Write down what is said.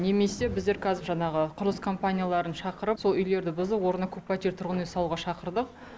немесе біздер қазір жаңағы құрылыс компанияларын шақырып сол үйлерді бұзып орнына көппәтерлі тұрғын үй салуға шақырдық